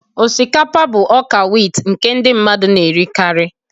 Osikapa bụ ọka wit nke ndị mmadụ na-erikarị.